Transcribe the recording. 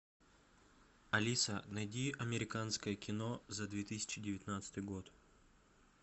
алиса найди американское кино за две тысячи девятнадцатый год